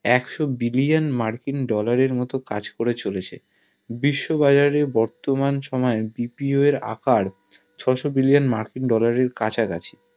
একশো billion মার্কিন dollar এর মতো কাজ করে চলেছে বিশ্ব বাজারে বর্তমান সময় BPO এর আকার প্রায় ছয়শো billion মার্কিন dollar এর কাছা কাছি